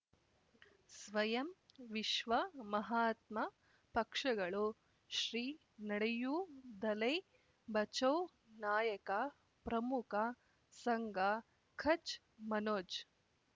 ಸ್ವಯಂ ವಿಶ್ವ ಮಹಾತ್ಮ ಪಕ್ಷಗಳು ಶ್ರೀ ನಡೆಯೂ ದಲೈ ಬಚೌ ನಾಯಕ ಪ್ರಮುಖ ಸಂಘ ಕಚ್ ಮನೋಜ್